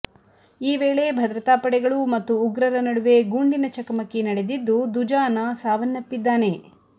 ಈ ವೇಳೆ ಭದ್ರತಾ ಪಡೆಗಳು ಮತ್ತು ಉಗ್ರರ ನಡುವೆ ಗುಂಡಿನ ಚಕಮಕಿ ನಡೆದಿದ್ದು ದುಜಾನ ಸಾವನ್ನಪ್ಪಿದ್ದಾನೆ